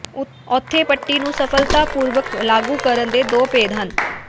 ਉੱਥੇ ਪੱਟੀ ਨੂੰ ਸਫਲਤਾਪੂਰਵਕ ਲਾਗੂ ਕਰਨ ਦੇ ਦੋ ਭੇਦ ਹਨ